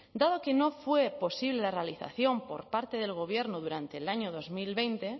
dado que no fue posible la realización por parte del gobierno durante el año dos mil veinte